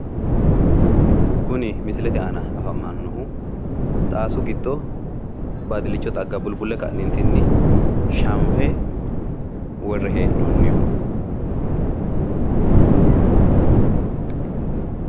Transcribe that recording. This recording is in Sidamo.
kuni misilete aana afamannohu xaasu giddo baadillicho xagga bulbulle ka'neentinni shanfe worre hee'noonniho.